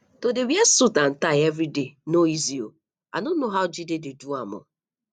to dey wear suit and tie everyday no easy oo i no know how jide dey do am